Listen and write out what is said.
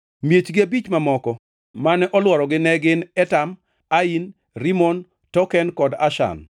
Miechgi abich mamoko mane olworogi ne gin Etam, Ain, Rimon, Token kod Ashan,